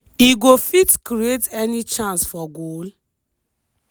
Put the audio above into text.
e go fit create any chance for goal?